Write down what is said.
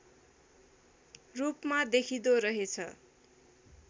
रूपमा देखिँदो रहेछ